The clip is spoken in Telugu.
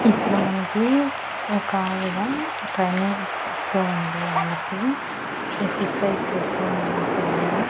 ఇక్కడ మనకి ఒకావిడ ట్రైనింగ్ ఇస్తూ ఉంది అందరికీ ఎక్సర్సైజ్ చేస్తూ ఉన్నారు పిల్లలు.